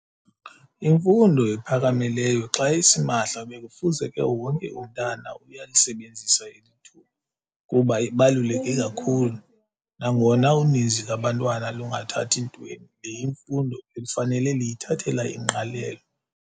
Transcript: Imfundo ephakamileyo xa isimahla bekufuzeke wonke umntana uyalisebenzisa eli thuba kuba ibaluleke kakhulu nangona uninzi lwabantwana lungathathi ntweni. Le imfundo bekufanele liyithathela ingqalelo.